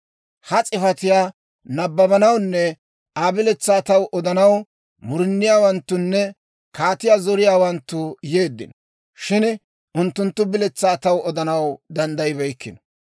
Ha s'ifatiyaa nabbabanawunne Aa biletsaa taw odanaw muruniyaawanttunne kaatiyaa zoriyaawanttu yeeddino; shin unttunttu biletsaa taw odanaw danddayibeykkino.